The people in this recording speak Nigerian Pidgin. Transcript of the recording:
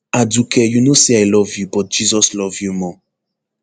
aduke you know say i love you but jesus love you more